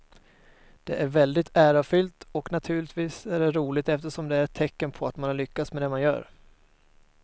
Det är väldigt ärofyllt och naturligtvis är det roligt eftersom det är ett tecken på att man har lyckats med det man gör.